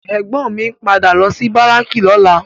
Ègbòn mi n pádà lò si báráki lòlá